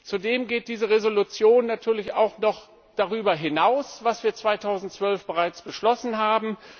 Zudem geht diese Entschließung natürlich auch noch über das hinaus, was wir 2012 bereits beschlossen haben.